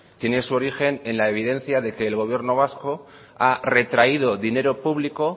tiene su origen en la evidencia de que el gobierno vasco ha retraído dinero público